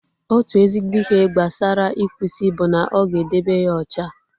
Otu ezigbo ihe gbasara ịkpụ isi bụ na ọ ga-edebe ya ocha